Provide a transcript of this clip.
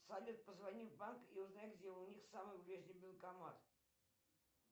салют позвони в банк и узнай где у них самый ближний банкомат